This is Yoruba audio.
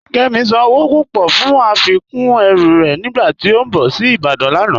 Kẹmi sán owó púpọ̀ fún afikún ẹ̀rù rẹ̀ nígbàtí ó n bọ̀ sí Ìbàdàn lánà.